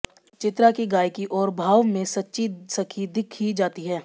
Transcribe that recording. चित्रा की गायिकी और भाव में सच्ची सखी दिख ही जाती है